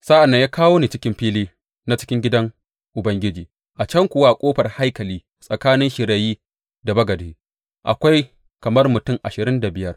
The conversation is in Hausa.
Sa’an nan ya kawo ni cikin fili na cikin gidan Ubangiji, a can kuwa a ƙofar haikali, tsakanin shirayi da bagade, akwai kamar mutum ashirin da biyar.